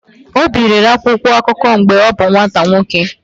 Obi rere akwụkwọ akụkọ mgbe ọ bụ nwata nwoke.